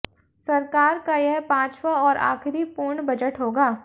सरकार का यह पांचवां और आखिरी पूर्ण बजट होगा